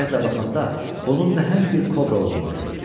Diqqətlə baxanda bunun nəhəng bir kobra olduğunu gördü.